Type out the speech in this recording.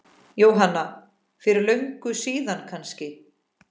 Jóhanna: Fyrir löngu síðan kannski?